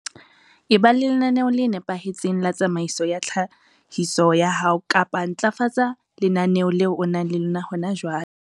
Eba le lenaneo le nepahetseng la tsamaiso ya tlhahiso ya hao kapa ntlafatsa lenaneo leo o nang le lona hona jwale.